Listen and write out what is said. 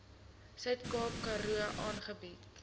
suidkaap karoo aangebied